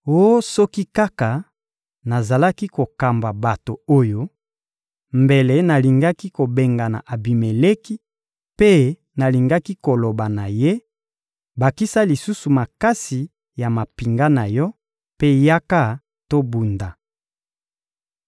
Oh soki kaka nazalaki kokamba bato oyo, mbele nalingaki kobengana Abimeleki, mpe nalingaki koloba na ye: ‹Bakisa lisusu makasi ya mampinga na yo, mpe yaka tobunda.›»